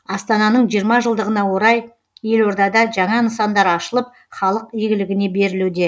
астананың жиырма жылдығына орай елордада жаңа нысандар ашылып халық игілігіне берілуде